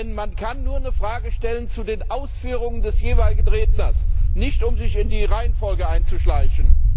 Denn man kann nur eine Frage stellen zu den Ausführungen des jeweiligen Redners, und nicht, um sich in die Reihenfolge einzuschleichen!